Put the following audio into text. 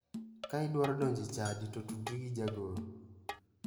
Ka idwaro donjo e chadi to tudri gi jagoro.